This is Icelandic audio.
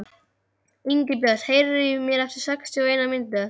Ingibjört, heyrðu í mér eftir sextíu og eina mínútur.